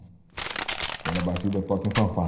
Aquela batida toca em fanfarra.